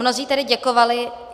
Mnozí tady děkovali.